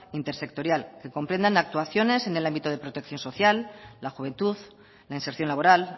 intersectorial que comprendan actuaciones en el ámbito de protección social la juventud la inserción laboral